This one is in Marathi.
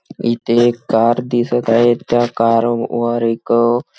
इथे एक कार दिसत आहे त्या कार वर एक--